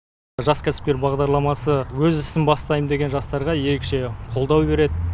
жас кәсіпкер бағдарламасы өз ісін бастайм деген жастарға ерекше қолдау береді